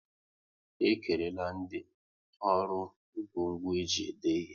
E kerela ndị ọrụ ngwo ngwo e ji ede ihe